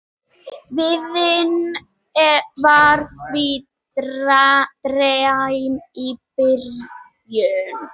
Veiðin var því dræm í byrjun